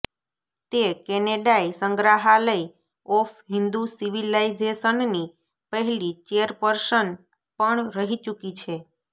તે કેનેડાઇ સંગ્રહાલય ઓફ હિંદુ સિવિલાઇઝેશનની પહેલી ચેરપર્સન પણ રહી ચૂકી છે